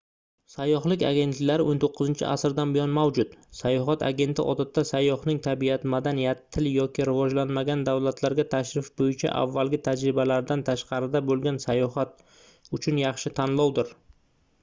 sayyohlik agentliklari 19-asrdan buyon mavjud sayohat agenti odatda sayyohning tabiat madaniyat til yoki rivojlanmagan davlatlarga tashrif boʻyicha avvalgi tajribalaridan tashqarida boʻlgan sayohat uchun yaxshi tanlovdir